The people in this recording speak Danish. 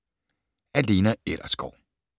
Af Lena Ellersgaard